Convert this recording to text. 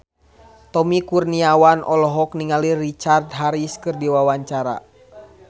Tommy Kurniawan olohok ningali Richard Harris keur diwawancara